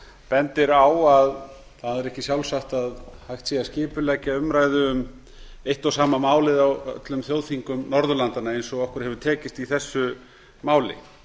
bendir á að það er ekki sjálfsagt að hægt sé að skipuleggja umræðu um eitt og sama málið á öllum þjóðþingum norðurlandanna eins og okkur hefur tekist í þessu máli